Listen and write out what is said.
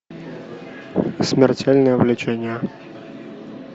смертельное влечение